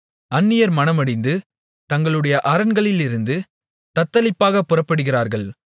அந்நியர் மனமடிந்து தங்களுடைய அரண்களிலிருந்து தத்தளிப்பாகப் புறப்படுகிறார்கள்